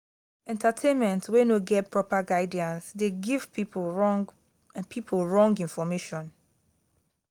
entertainment wey no get proper guidance de give pipo wrong pipo wrong information